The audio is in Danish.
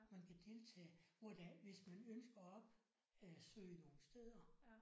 Man kan deltage hvor der hvis man ønsker og op øh søge nogle steder